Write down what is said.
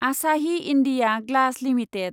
Asahi India glass limited